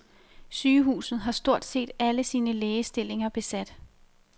Sygehuset har stort set alle sine lægestillinger besat.